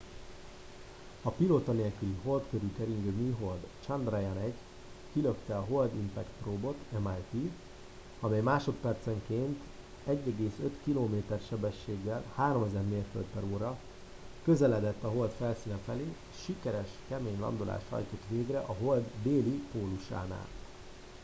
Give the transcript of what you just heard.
a pilóta nélküli hold körül keringő műhold a chandrayaan-1 kilökte a hold impact probe-ot mip amely másodpercenként 1,5 kilométer sebességgel 3000 mérföld/óra közeledett a hold felszíne felé és sikeres kemény landolást hajtott végre a hold déli pólusánál